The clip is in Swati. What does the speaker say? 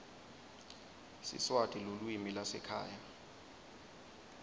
siswati lulwimi lwasekhaya